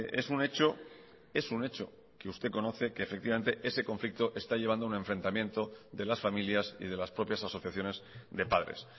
es un hecho es un hecho que usted conoce que efectivamente ese conflicto está llevando un enfrentamiento de las familias y de las propias asociaciones de padres